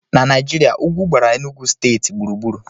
Na Naijiria, ugwu gbara Enugwu steeti gburugburu